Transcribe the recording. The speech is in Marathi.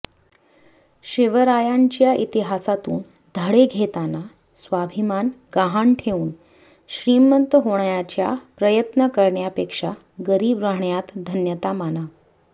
शिवरायांच्या इतिहासातून धडे घेताना स्वाभीमान गहाण ठेऊन श्रीमंत होण्याचा प्रयत्न करण्यापेक्षा गरीब राहण्यात धन्यता माना